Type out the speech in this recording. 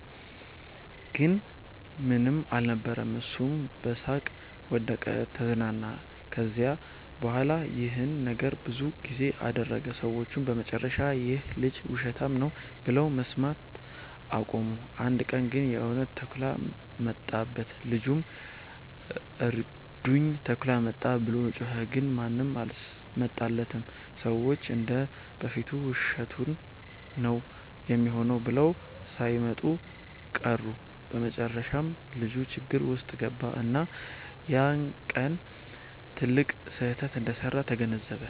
ግን ምንም አልነበረም። እሱም በሳቅ ወደቀ(ተዝናና)። ከዚያ በኋላ ይህን ነገር ብዙ ጊዜ አደረገ። ሰዎቹም በመጨረሻ “ይህ ልጅ ውሸታም ነው” ብለው መስማት አቆሙ። አንድ ቀን ግን የእውነት ተኩላ መጣበት። ልጁም “እርዱኝ! ተኩላ መጣ!” ብሎ ጮኸ። ግን ማንም አልመጣለትም፤ ሰዎቹ እንደ በፊቱ ውሸቱን ነው ሚሆነው ብለው ሳይመጡ ቀሩ። በመጨረሻም ልጁ ችግር ውስጥ ገባ፣ እና ያ ቀን ትልቅ ስህተት እንደሰራ ተገነዘበ።